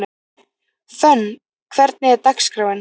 Fönn, hvernig er dagskráin?